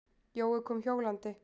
Jói kom hjólandi.